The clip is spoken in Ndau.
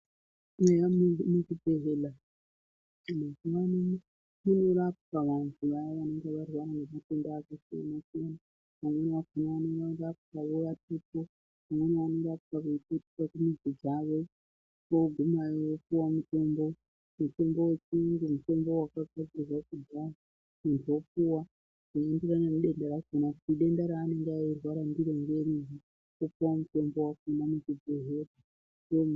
Eya munhu muchibhodhleya mazuwa ano munorapwa vanhu vaya vanenge varwara ngezvitenda zvakasiyana siyana amweNi akhonaanorapwa wo asipo amweni anorapwa eipetuka kumuzi dzawo ogumeyo opuwe mutombo mutombo yechiyungu mutombo wakagadzirwe kudhaya muntu opuwe zvinoenderana nedenda rakhona kuti denda ranenge eirwara ndiro ngeriri opuwa mutombo wakhona muchibhedhlera omwa.